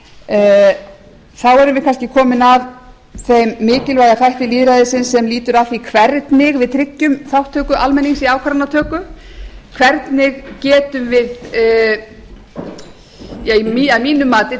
þá erum við kannski komin að þeim mikilvæga þætti lýðræðisins sem lýtur að því hvernig við tryggjum þátttöku almennings í ákvarðanatöku að mínu mati tryggjum